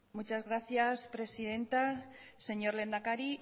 muchas gracias presidenta señor lehendakari